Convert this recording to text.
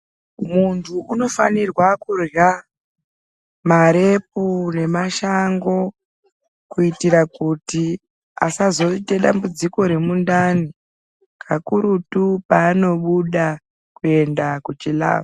Muntu unofanirwa kurya marepu nemashango kuitira kuti asazoita dambudziko remundani kakurutu paanobuda kuenda kuchilavha.